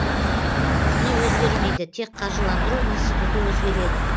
құны өзгермейді тек қаржыландыру институты өзгереді